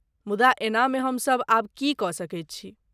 मुदा एहनामे हमसब आब की कऽ सकैत छी?